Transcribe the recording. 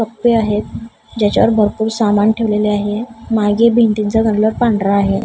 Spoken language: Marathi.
कप्पे आहेत ज्याच्यावर भरपूर सामान ठेवलेले आहे मागे भिंतींचा कलर पांढरा आहे.